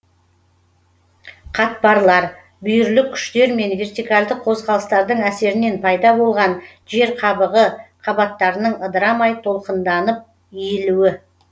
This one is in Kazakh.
қатпарлар бүйірлік күштер мен вертикальдық қозғалыстардың әсерінен пайда болған жер қабығы қабаттарының ыдырамай толқынданып иілуі